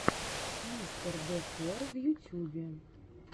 мистердокер в ютьюбе